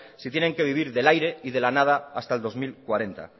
si tienen que vivir del aire y de la nada hasta el dos mil cuarenta